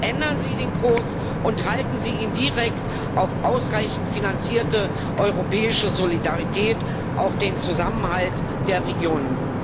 Ändern Sie den Kurs und halten Sie ihn direkt auf ausreichend finanzierte europäische Solidarität, auf den Zusammenhalt der Regionen!